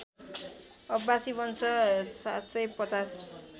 अब्बासी वंश ७५०